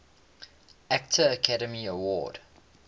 actor academy award